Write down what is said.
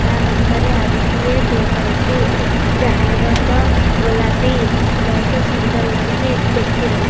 ତା ପାଖରେ ଆଉ ଗୋଟିଏ କେକ ଅଛି ଯାହାର ରଙ୍ଗ ଗୋଲାପି ବହୁତ ସୁନ୍ଦର ଲାଗୁଛି ଟେଷ୍ଟି ଲାଗୁ।